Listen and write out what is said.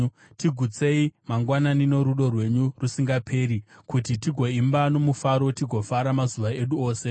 Tigutsei mangwanani norudo rwenyu rusingaperi, kuti tigoimba nomufaro tigofara mazuva edu ose.